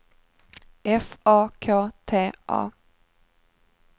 F A K T A